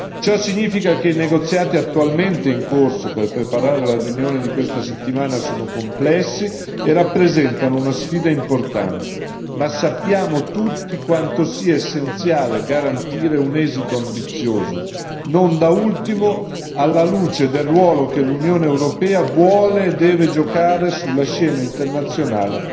Ciò significa che i negoziati attualmente in corso per preparare la riunione di questa settimana sono complessi e rappresentano una sfida importante, ma sappiamo tutti quanto sia essenziale garantire un esito ambizioso, non da ultimo, alla luce del ruolo che l'Unione europea vuole e deve giocare sulla scena internazionale